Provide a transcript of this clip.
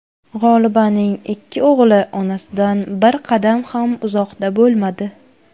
G‘olibaning ikki o‘g‘li onasidan bir qadam ham uzoqda bo‘lmadi.